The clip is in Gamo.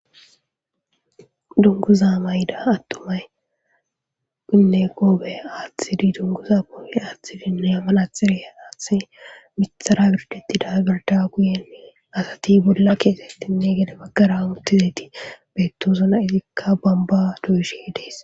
Dunguza mayda attomay inne qoobe aaththidi dunguza poobe aathtidinne yamman axire aaththi mitara birdetida gerda guyenne asati bolla keesettinne gede baggarautizeti beettosuna izikka bamba duishe dees.